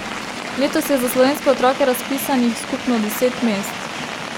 Letos je za slovenske otroke razpisanih skupno deset mest.